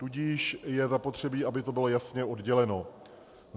Tudíž je zapotřebí, aby to bylo jasně odděleno.